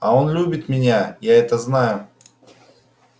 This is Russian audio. а он любит меня я это знаю